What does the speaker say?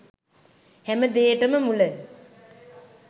හැම දේටම මුල